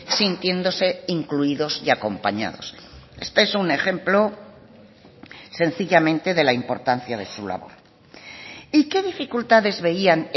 sintiéndose incluidos y acompañados este es un ejemplo sencillamente de la importancia de su labor y qué dificultades veían